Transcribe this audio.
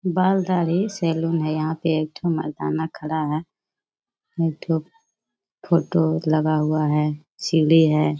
बाल-दाढ़ी salon है यहाँ पे। एक ठो मरदाना खड़ा है। एक ठो फोटो लगा हुआ है सीढ़ी है।